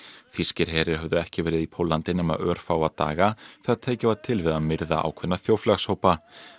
þýskir herir höfðu ekki verið í Póllandi nema örfáa daga þegar tekið var til við að myrða ákveðna þjóðfélagshópa